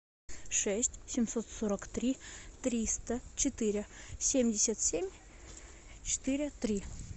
шесть семьсот сорок три триста четыре семьдесят семь четыре три